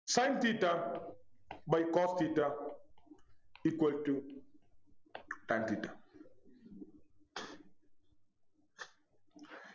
Sin theta by cos theta equal to tan theta